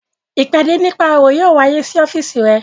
Ìpàdé nípa òwò yóò wáyé ní ọ́fíìsì rẹ